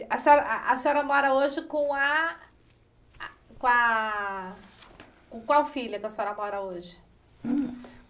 A senhora a a senhora mora hoje com a a com a... Com qual filha que a senhora mora hoje?